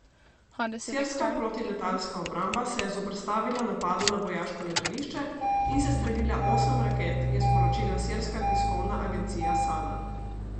Sirska protiletalska obramba se je zoperstavila napadu na vojaško letališče in sestrelila osem raket, je sporočila sirska tiskovna agencija Sana.